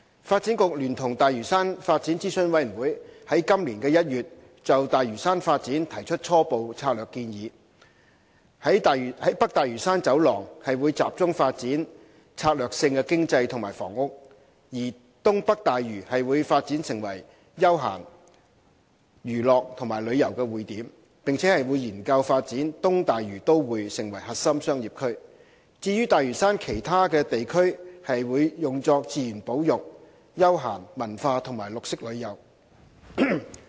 發展局聯同大嶼山發展諮詢委員會於今年1月就大嶼山發展提出初步策略建議——北大嶼山走廊會集中發展策略性經濟及房屋；而東北大嶼會發展成為休閒、娛樂和旅遊匯點；並研究發展"東大嶼都會"成為核心商業區；至於大嶼山其他地區則會用作自然保育、休閒、文化及綠色旅遊。